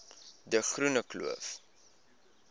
de groene kloof